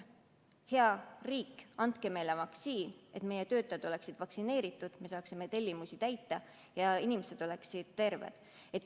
Nad ütlevad: hea riik, andke meile vaktsiin, et meie töötajad oleksid vaktsineeritud, et me saaksime tellimusi täita ja inimesed oleksid terved.